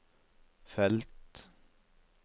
felt